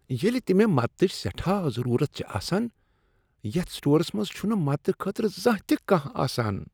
ییلِہ تِہ مےٚ مدتٕچ سیٹھاہ ضرورت چھ آسان یتھ سٹورس منٛز چُھنہٕ مدتہٕ خٲطرٕ زانٛہہ تِہ کانٛہہ آسان ۔